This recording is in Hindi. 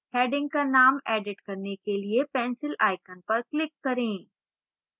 heading का name edit करने के लिए pencil icon पर click करें